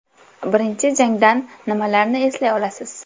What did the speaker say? Birinchi jangdan nimalarni eslay olasiz?